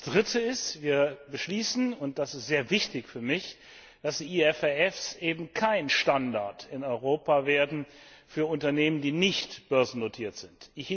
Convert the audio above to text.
Drittens Wir beschließen, und das ist sehr wichtig für mich, dass die IFRS eben kein Standard in Europa werden für Unternehmen, die nicht börsennotiert sind.